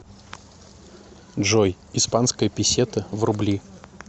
джой испанская песета в рубли